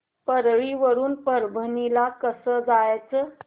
परळी वरून परभणी ला कसं जायचं